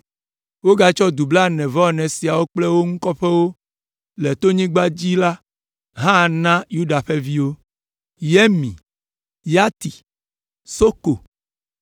Wogatsɔ du blaene-vɔ-ene siawo kple wo ŋu kɔƒewo le tonyigba la dzi hã na Yuda ƒe viwo: Samir, Yatir, Soko,